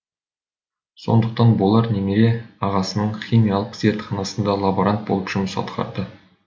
сондықтан болар немере ағасының химиялық зертханасында лаборант болып жұмыс атқарды